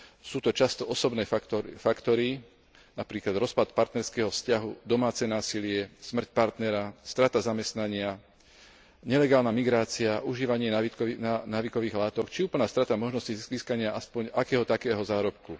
Sú to často osobné faktory, napríklad rozpad partnerského vzťahu, domáce násilie, smrť partnera, strata zamestnania, nelegálna migrácia, užívanie návykových látok, či úplná strata možnosti získania aspoň akého takého zárobku.